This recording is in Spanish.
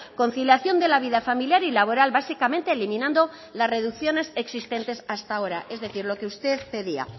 conciliación de la vida familiar y laboral básicamente eliminando las reducciones existentes hasta ahora es decir lo que usted pedía